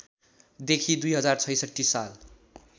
देखि २०६६ साल